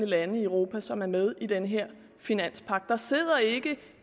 lande i europa som er med i den her finanspagt der sidder ikke